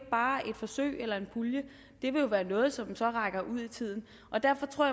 bare et forsøg eller en pulje det vil jo være noget som så rækker ud i tiden derfor tror